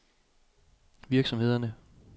virksomhederne